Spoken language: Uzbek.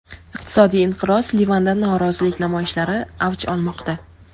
Iqtisodiy inqiroz: Livanda norozilik namoyishlari avj olmoqda.